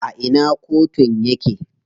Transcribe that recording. A ina kotun yake?